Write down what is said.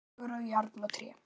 Hagur á járn og tré.